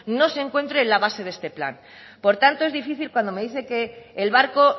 no se encuentre en la base de este plan por tanto es difícil cuando me dice que el barco